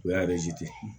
O y'a